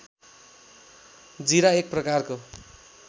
जीरा एक प्रकारको